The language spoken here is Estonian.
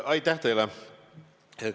Aitäh teile!